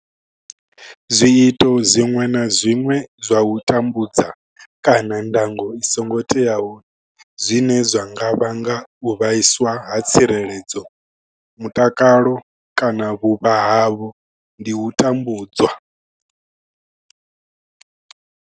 Zwiito zwiṅwe na zwiṅwe zwa u tambudza kana ndango i songo teaho zwine zwa nga vhanga u vhaiswa ha tsireledzo, mutakalo kana vhuvha havho ndi u tambudzwa.